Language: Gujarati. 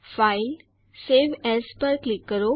ફાઇલ જીટીજીટી સવે એએસ પર ક્લિક કરો